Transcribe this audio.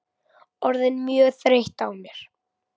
Orðin mjög þreytt á mér.